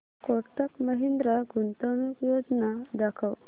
कोटक महिंद्रा गुंतवणूक योजना दाखव